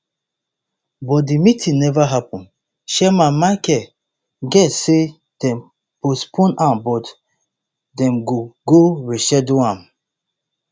but di meeting never happun chairman michael guest say dem postpone am but dem go go reschedule am